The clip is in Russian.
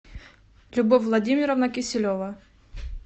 любовь владимировна киселева